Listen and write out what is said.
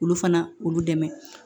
Olu fana olu dɛmɛ